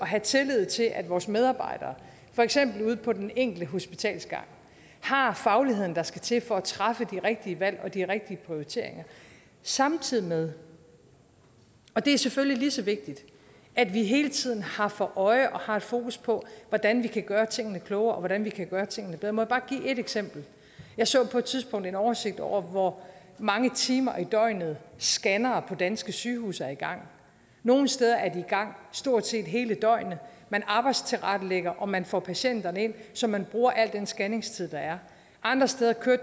have tillid til at vores medarbejdere for eksempel ude på den enkelte hospitalsgang har fagligheden der skal til for at træffe de rigtige valg og foretage de rigtige prioriteringer samtidig med og det er selvfølgelig lige så vigtigt at vi hele tiden har for øje og har fokus på hvordan vi kan gøre tingene klogere og hvordan vi kan gøre tingene bedre bare give et eksempel jeg så på et tidspunkt en oversigt over hvor mange timer i døgnet scannere på danske sygehuse er i gang nogle steder er de i gang stort set hele døgnet man arbejdstilrettelægger og man får patienterne ind så man bruger al den scanningstid der er andre steder kører